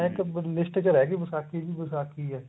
ਇੱਕ list ਚ ਰਿਹ ਗਈ ਵਿਸਾਖੀ ਵੀ ਵਿਸਾਖੀ ਏ